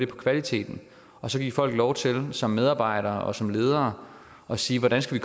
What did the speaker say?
på kvaliteten og så give folk lov til som medarbejdere og som ledere at sige hvordan skal